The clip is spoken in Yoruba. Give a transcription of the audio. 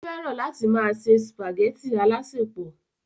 ó fẹ́ràn láti máa ṣe sùpàgẹ́tì alásèpọ̀